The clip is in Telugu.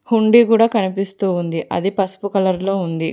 హుండీ కూడ కనిపిస్తూ ఉంది అది పసుపు కలర్ లో ఉంది.